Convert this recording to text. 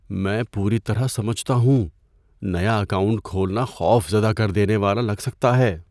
میں پوری طرح سمجھتا ہوں۔ نیا اکاؤنٹ کھولنا خوف زدہ کر دینے والا لگ سکتا ہے۔